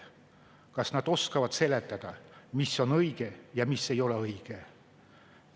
Kas nad oskavad seletada, mis on õige ja mis ei ole õige?